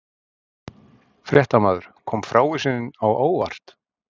Fréttamaður: Kom frávísunin á óvart?